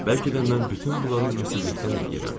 Bəlkə də mən bütün bunları ümidsizlikdən eləyirəm.